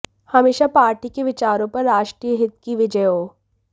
हमेशा पार्टी के विचारों पर राष्ट्रीय हित की विजय हो